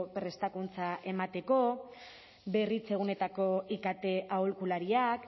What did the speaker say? prestakuntza emateko berritzeguneetako ikt aholkulariak